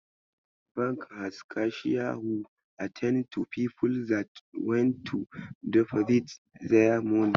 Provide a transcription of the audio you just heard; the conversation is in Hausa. Bank has cashier who attend to people that want to deposit there money.